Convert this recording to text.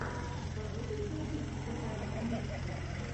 у тебя будет мультик музыкального миксера